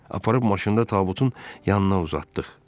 Aparıb maşında tabutun yanına uzatdıq.